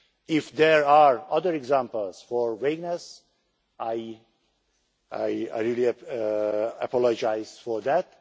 If there are other examples of vagueness, I really apologise for that.